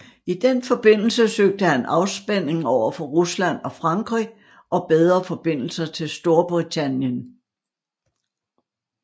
I den forbindelse søgte han afspænding overfor Rusland og Frankrig og bedre forbindelser til Storbritannien